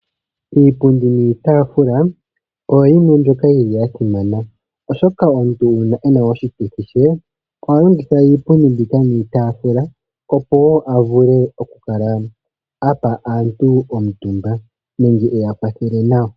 Iipundi niitafula oyo yimwe mbyoka yili yasimana oshoka omuntu uuna wuna oshituthi shoye ohaya longitha iipundi niitafula oha longitha iipundi niitafula opo a vule okupa aantu omumba ye eya kwathele nawa.